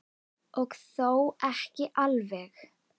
Og þó ekki alveg.